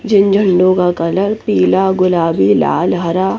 झ-झंडू बा का लैप पीला गुलाबी लाल हरा--